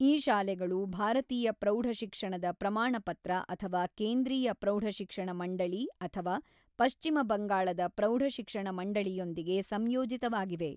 ಈ ಶಾಲೆಗಳು ಭಾರತೀಯ ಪ್ರೌಢ ಶಿಕ್ಷಣದ ಪ್ರಮಾಣಪತ್ರ ಅಥವಾ ಕೇಂದ್ರೀಯ ಪ್ರೌಢ ಶಿಕ್ಷಣ ಮಂಡಳಿ ಅಥವಾ ಪಶ್ಚಿಮ ಬಂಗಾಳದ ಪ್ರೌಢ ಶಿಕ್ಷಣ ಮಂಡಳಿಯೊಂದಿಗೆ ಸಂಯೋಜಿತವಾಗಿವೆ.